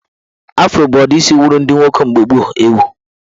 Afro bụ udi isi wuru ndị nwoke mgbe gboo ewu